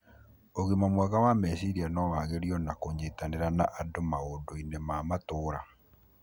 ũgima mwega wa meciria no wagĩrio na kũnyitanĩra na andu maũndũinĩ ma matũra.